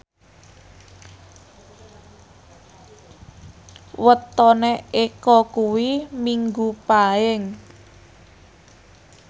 wetone Eko kuwi Minggu Paing